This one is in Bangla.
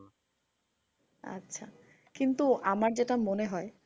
আচ্ছা। কিন্তু আমার যেটা মনে হয়